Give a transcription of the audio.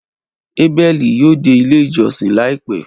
Abeli ​​yoo de ile ijọsin laipẹ